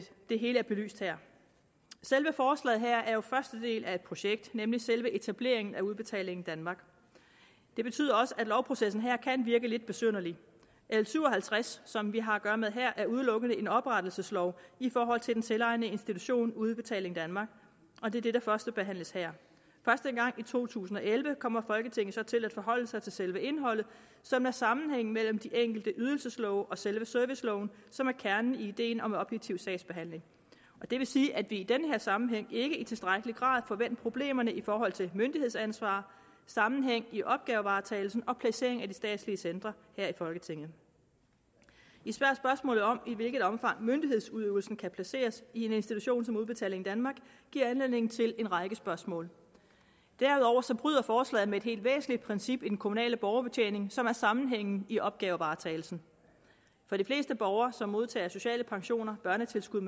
hele er belyst her selve forslaget her er jo første del af et projekt nemlig selve etableringen af udbetaling danmark det betyder også at lovprocessen her kan virke lidt besynderlig l syv og halvtreds som vi har at gøre med her er udelukkende en oprettelseslov i forhold til den selvejende institution udbetaling danmark og det er det der førstebehandles her først engang i to tusind og elleve kommer folketinget så til at forholde sig til selve indholdet som er sammenhængen mellem de enkelte ydelseslove og selve serviceloven som er kernen i ideen om objektiv sagsbehandling det vil sige at det i den her sammenhæng ikke i tilstrækkelig grad får vendt problemerne i forhold til myndighedsansvar sammenhæng i opgavevaretagelsen og placering af de statslige centre her i folketinget især spørgsmålet om i hvilket omfang myndighedsudøvelsen kan placeres i en institution som udbetaling danmark giver anledning til en række spørgsmål derudover bryder forslaget med et helt væsentligt princip i den kommunale borgerbetjening som er sammenhængen i opgavevaretagelsen for de fleste borgere som modtager sociale pensioner børnetilskud